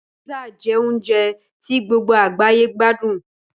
Písà jẹ́ oúnjẹ tí gbogbo àgbáyé gbádùn